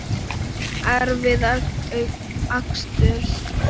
Erfiðar aksturs